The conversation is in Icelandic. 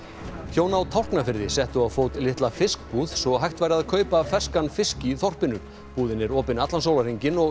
hjón á Tálknafirði settu á fót litla fiskbúð svo hægt væri að kaupa ferskan fisk í þorpinu búðin er opin allan sólarhringinn og